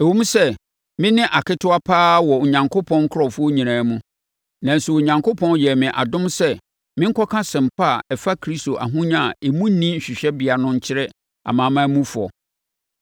Ɛwom sɛ me ne aketewa pa ara wɔ Onyankopɔn nkurɔfoɔ nyinaa mu, nanso Onyankopɔn yɛɛ me adom sɛ menkɔka Asɛmpa a ɛfa Kristo ahonya a emu nni hwehwɛbea no nkyerɛ amanamanmufoɔ,